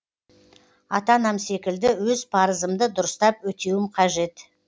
ата анам секілді өз парызымды дұрыстап өтеуім қажет